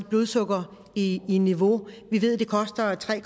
blodsukkeret i i niveau vi ved at det koster tre